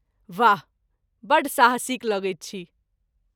वाह! बड्ड साहसिक लगैत अछि।